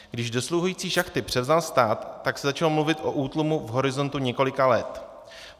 Když dosluhující šachty převzal stát, tak se začalo mluvit o útlumu v horizontu několika let.